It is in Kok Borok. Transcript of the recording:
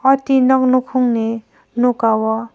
aw tin nog nokong ni noka o.